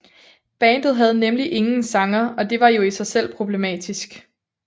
Bandet havde nemlig ingen sanger og det var jo i sig selv problematisk